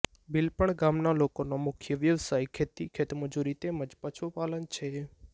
બિલપણ ગામના લોકોનો મુખ્ય વ્યવસાય ખેતી ખેતમજૂરી તેમ જ પશુપાલન છે